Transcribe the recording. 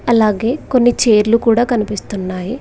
అలాగే కొన్ని చైర్లు కూడా కనిపిస్తున్నాయి.